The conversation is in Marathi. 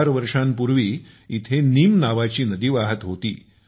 फार वर्षांपूर्वी येथे नीम नावाची नदी वाहत होती